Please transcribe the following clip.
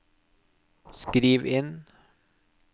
skriv inn